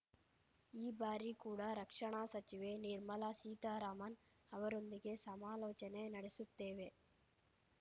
ಈ ಬಾರಿ ಕೂಡ ರಕ್ಷಣಾ ಸಚಿವೆ ನಿರ್ಮಲಾ ಸೀತಾರಾಮನ್‌ ಅವರೊಂದಿಗೆ ಸಮಾಲೋಚನೆ ನಡೆಸುತ್ತೇವೆ